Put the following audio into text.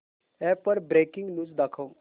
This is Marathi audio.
अॅप वर ब्रेकिंग न्यूज दाखव